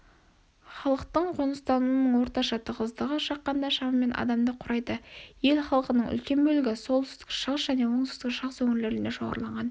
халықтың қоныстануының орташа тығыздығы шаққанда шамамен адамды құрайды ел халқының үлкен бөлігі солтүстік-шығыс және оңтүстік шығыс өңірлеріне шоғырланған